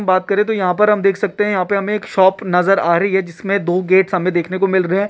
बात करे तो यहाँ पर हम देख सकते है यहाँ पे हमें एक शॉप नजर आ रही है जिसमे दो गेट शामे देखने को मिल सकते है।